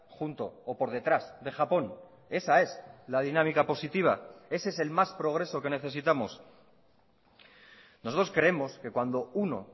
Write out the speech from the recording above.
junto o por detrás de japón esa es la dinámica positiva ese es el más progreso que necesitamos nosotros creemos que cuando uno